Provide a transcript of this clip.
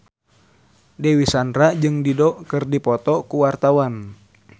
Dewi Sandra jeung Dido keur dipoto ku wartawan